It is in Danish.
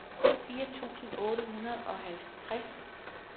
firs tusind otte hundrede og halvtreds